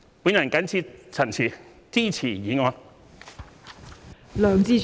我謹此陳辭，支持議案。